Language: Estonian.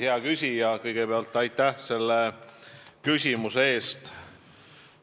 Hea küsija, kõigepealt aitäh selle küsimuse eest!